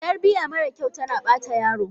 Tarbiya mara kyau tana bata yaro